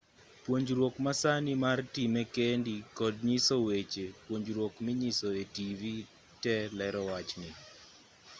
puonjruokwa ma sani mar time kendi kod nyiso weche puonjruok minyiso e-tivi te lero wachni